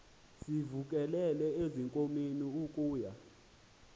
sivukele ezinkomeni ukuya